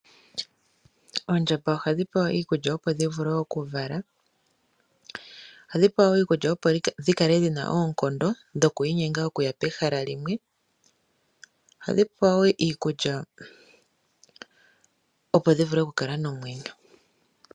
Oondjamba ohadhi pewa iikulya, opo dhi vule okuvala. Ohadhi pewa wo iikulya, opo dhi kale dhi na oonkondo dhoku inyenga okuya pehala limwe. Ohadhi pewa wo iikulya, opo dhi vule okukala nomwenyo.